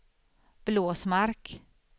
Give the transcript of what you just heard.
Blåsmark